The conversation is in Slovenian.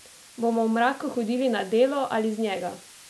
Bomo v mraku hodili na delo ali z njega?